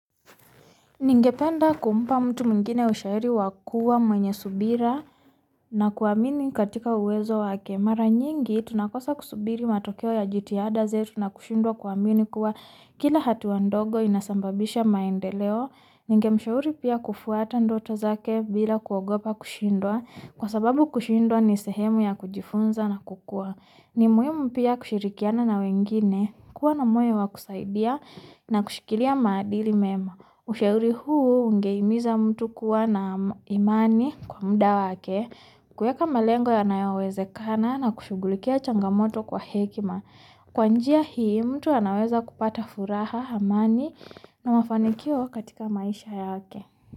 Ningependa kumpa mutu mwingine ushairi wa mwenyesubira na kwa amini katika uwezo wake Mara nyingi ituna kosa kusubiri matokeo ya jiti ada zetu na kushundwa kwa amini kwa Kila hati wandogo inasambabisha maende leo Ningemishauri pia kufuata ndoto zake bila kwa gopa kushundwa Kwa sababu kushindwa ni sehemu ya kujifunza na kukua Nimuhimu mpia kushirikiana na wengine kua na moyo kusaidia na kushikilia maadili mema Ushaeri huu ungeimiza mutu kua na imani kwa muda wake kuweka malengo ya wawezekana na kushugulikia changamoto kwa hekima Kwanjia hii mutu ya waweza kupata furaha amani na mafanikio katika maisha ya wake.